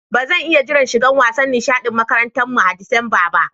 Ba zan iya jira shigan wasan nishadin makarantan mu a'Disamba ba.